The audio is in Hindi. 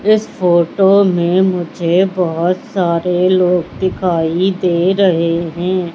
इस फोटो में मुझे बहोत सारे लोग दिखाई दे रहे हैं।